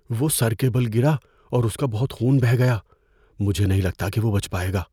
وہ سر کے بل گرا اور اس کا بہت خون بہہ گیا۔ مجھے نہیں لگتا کہ وہ بچ پائے گا۔